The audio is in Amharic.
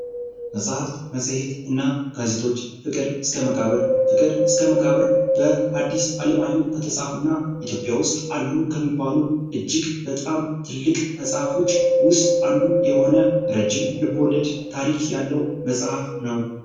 መጽሐፍት መጽሔትና ጋዜጦች ፍቅር እስከ መቃብር ፍቅር እስከ መቃብር ፦በሀድስ አለማየሁ ከተጻፉ እና ኢትዮጵያ ውስጥ አሉ ከሚባሉ እጅግ በጣም ትልቅ መጽሐፎች ውስጥ አንዱ የሆነ ረጅም ልቦለድ ታሪክ ያለው መጽሐፍ ነው።